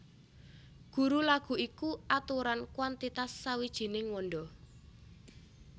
Guru laghu iku aturan kwantitas sawijining wanda